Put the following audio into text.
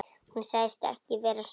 Hún sagðist ekki vera svöng.